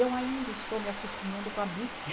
Eu ainda estou me acostumando com a bic.